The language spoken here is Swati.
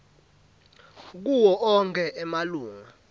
kuwo onkhe emalunga